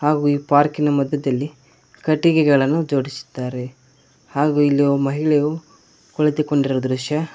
ಹಾಗು ಈ ಪಾರ್ಕಿನ ಮಧ್ಯದಲ್ಲಿ ಕಟ್ಟಿಗೆಗಳನ್ನು ಜೋಡಿಸಿದ್ದಾರೆ ಹಾಗು ಇಲ್ಲಿ ಮಹಿಳೆಯು ಕುಳಿತುಕೊಂಡಿರುವ ದೃಶ್ಯ--